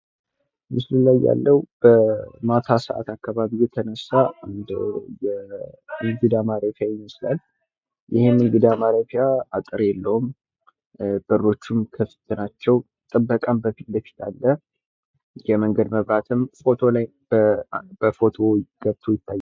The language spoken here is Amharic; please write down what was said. ምስሉ ላይ የምናየው ማታ አካባቢ የተነሳ የእንግዳ ማረፊያ ይመስላል። ይህ የእንግዳ ማረፊያ አጥር የላቸውም፣ በሮችም ክፍት ናቸው፣ ጥበቃ ፊት ለፊት አለ። የመንገድ መብራትም በፎቶው ገብቶ ይታያል።